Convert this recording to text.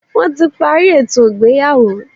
Wọ́n ti parí ètò ìgbéyàwó.